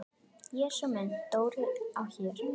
Jesús minn, Dóri á Her!